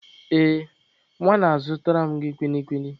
Ee, nwa na azụtara m gị kwili kwili.